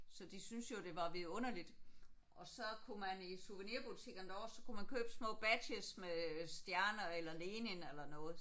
Så de synes jo det var vidunderligt og så kunne man i souvenirbutikkerne så kunne man købe små badges med stjerner eller Lenin eller noget